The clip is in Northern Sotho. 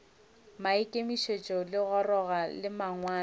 maikemišetšo a legora la mangwalo